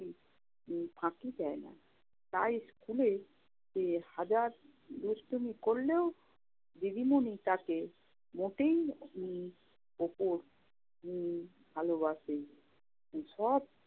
উম ফাঁকি দেয় না। তাই স্কুলে হাজার দুষ্টামি করলেও দিদিমনি তাকে মোটেই উম ওপর উম ভালোবাসে। সে সব